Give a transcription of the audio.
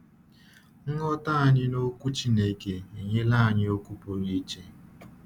Ịghọta anyị n’Ọkwú Chineke enyela anyị okwu pụrụ iche.